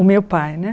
O meu pai, né?